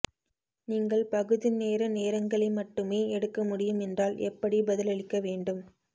நீங்கள் பகுதி நேர நேரங்களை மட்டுமே எடுக்க முடியும் என்றால் எப்படி பதிலளிக்க வேண்டும்